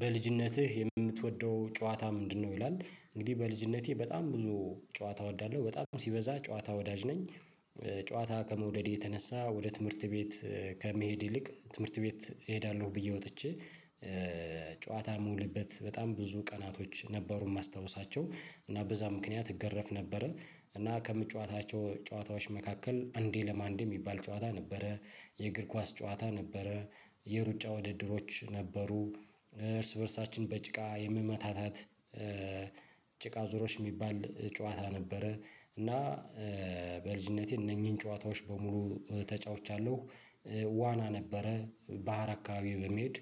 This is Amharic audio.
በልጅነትህ የምትወደው ጨዋታ ምንድነው? ይላል እንግዲህ በልጅነቴ በጣም ብዙ ጨዋታ እወዳለሁ በጣም ሲበዛ ጨዎታ ወዳጅ ነኝ። ጨዎታ ከመዉደድ የተነሳ ወደ ትምህርት ቤት ከመሄድ ይልቅ ትምህርት ቤት እሄዳለሁ ብዬ ወጥቼ። ጨዎታ የምውልበት በጣም ብዙ ቀናቶችን ነበሩ የማስታውሳቸው እና በዛ ምክንያት እገረፍ ነበር። እና ከምጫወታቸው ጨዋታዎች መካከል እንዴ ለማአንዴ የሚባል ጨዋታ ነበረ። የእግር ኳስ ጨዋታ ነበረ። የሩጫ ውድድሮች ነበሩ። እርስ በርሳችን በጭቃ የመመታታት ጭቃ ዙሮች የሚባል ጨዋታ ነበረ። እና በልጅነቴ እነዚህን ጨዋታዎች በሙሉ ተጫውቻለሁ። ዋና ነበረ ባህር አካባቢ በመሄድ